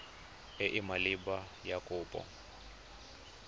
e e maleba ya kopo